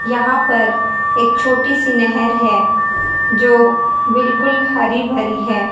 यहां पर एक छोटी सी नहेर है जो बिल्कुल हरी भरी है।